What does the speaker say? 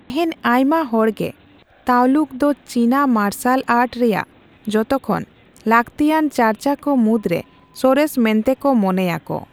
ᱛᱮᱹᱦᱮᱹᱧ ᱟᱭᱢᱟ ᱦᱚᱲᱜᱮ ᱛᱟᱣᱞᱩᱠ ᱫᱚ ᱪᱤᱱᱟ ᱢᱟᱨᱥᱟᱞ ᱟᱨᱴ ᱨᱮᱭᱟᱜ ᱡᱚᱛᱚᱠᱷᱚᱱ ᱞᱟᱹᱠᱛᱤᱭᱟᱱ ᱪᱟᱨᱪᱟᱠᱚ ᱢᱩᱫᱨᱮ ᱥᱚᱨᱮᱥ ᱢᱮᱱᱛᱮ ᱠᱚ ᱢᱚᱱᱮᱭᱟᱠᱚ ᱾